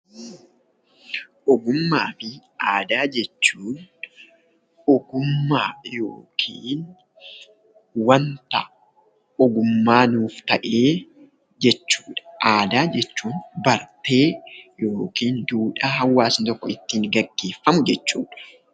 Ogummaa fi aadaa jechuun ogummaa yookiin wanta ogummaa nuuf ta'e jechuudha. Aadaa jechuun bartee yookiin duudhaa hawaasni tokko ittiin gaggeeffamu jechuudha.